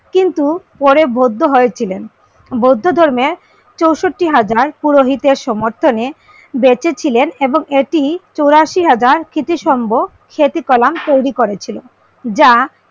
কিন্তু পরে বৌদ্ধ হয়েছিলেন বৌদ্ধ ধর্মের চৌষট্টি হাজার পুরোহিতের সমর্থনে বেঁচে ছিলেন এবং এটি চুরাশি হাজার স্মৃতি সংব সেতুকলা তৈরি করেছিলেন যা